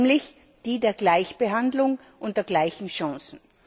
Nämlich die der Gleichbehandlung und der gleichen Chancen.